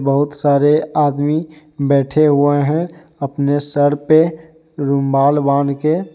बहुत सारे आदमी बैठे हुए हैं अपने सर पे रुमाल बांधके।